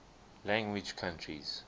language countries